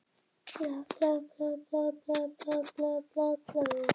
Gvendar sem heldur fast í árina sína, svo risastór við hlið